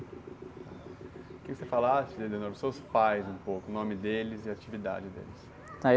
Queria que você falasse, sobre os seus pais, o nome deles e a atividade deles.